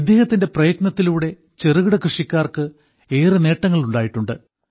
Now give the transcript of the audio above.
ഇദ്ദേഹത്തിന്റെ പ്രയത്നത്തിലൂടെ ചെറുകിട കൃഷിക്കാർക്ക് ഏറെ നേട്ടങ്ങൾ ഉണ്ടായിട്ടുണ്ട്